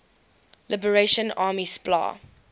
liberation army spla